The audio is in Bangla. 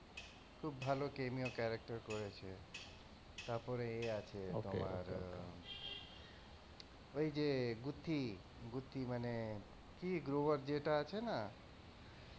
খুব ভালো cameo character করেছে তারপরে এ আছে তোমার ওই যে গউত্থি, গউত্থি মানে গউত্থি গ্লোবার আছে না